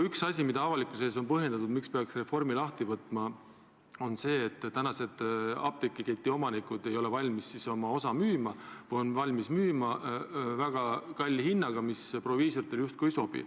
Üks asi, millega avalikkusele on põhjendatud reformi n-ö lahtivõtmise vajadust, on see, et tänased apteegiketi omanikud ei ole valmis oma osa müüma või on valmis müüma väga kalli hinnaga, mis proviisoritele justkui ei sobi.